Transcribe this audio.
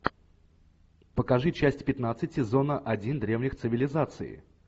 покажи часть пятнадцать сезона один древних цивилизаций